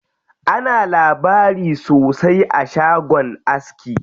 Ana labari sosai a shagon aski.